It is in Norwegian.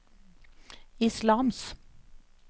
islams